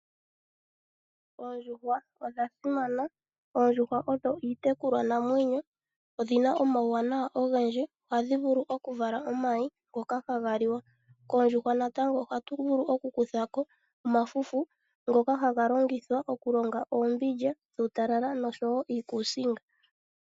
Oondjuhwa odho iitekulwa namwenyo yaawambo no dhina omauwanawa ogendji ngaashi okuvala omayi ngoka haga liwa, koondjuhwa natango oha tu vulu oku kuthako omafufu go ku ninga oombilya dhuutalala nosho woo iikusinga.